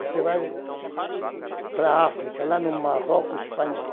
Você vai para a África, lá no Marroco espanhol.